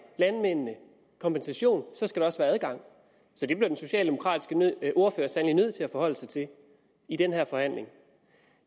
landmændene en kompensation skal der også være adgang så det bliver den socialdemokratiske ordfører sandelig nødt til at forholde sig til i den her forhandling